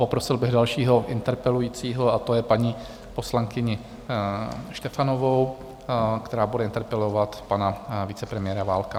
Poprosil bych dalšího interpelujícího a to je paní poslankyně Štefanová, která bude interpelovat pana vicepremiéra Válka.